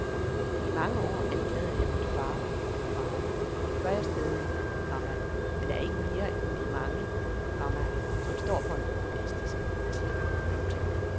I mange år anklagede jeg min far, komma det gør jeg stadig, komma men ikke mere end de mange, komma som står for en populistisk politik. punktum